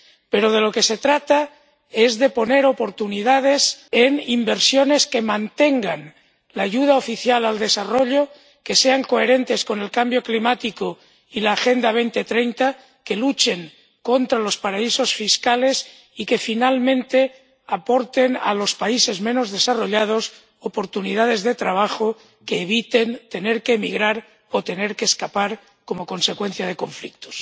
Pero de lo que se trata es de poner oportunidades en inversiones que mantengan la ayuda oficial al desarrollo, que sean coherentes con el cambio climático y la Agenda 2030, que luchen contra los paraísos fiscales y que, finalmente, aporten a los países menos desarrollados oportunidades de trabajo que eviten tener que emigrar o tener que escapar como consecuencia de conflictos.